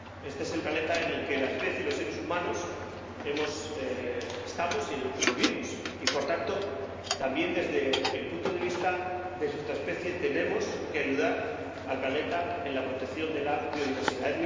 Este es el planeta en el que la especie, los seres humanos estamos y en el que vivimos y, por tanto, también desde el punto de vista de nuestra especie, tenemos que ayudar al planeta en la protección de la biodiversidad.